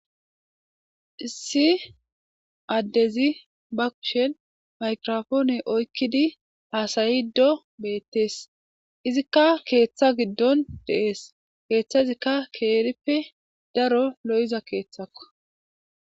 issi addezi bakushen maykrofoone oykkidi haasayi do beettees izikka keeththa giddon deees keeththazikka keerippe daro lo7iza keeththakka